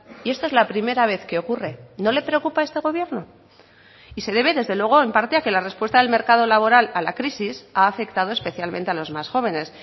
y esta es la primera vez que ocurre no le preocupa a este gobierno y se debe desde luego en parte a que la respuesta del mercado laboral a la crisis ha afectado especialmente a los más jóvenes